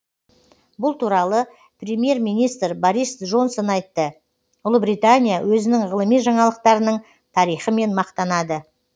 бұл туралы премьер министр борис джонсон айтты ұлыбритания өзінің ғылыми жаңалықтарының тарихымен мақтанады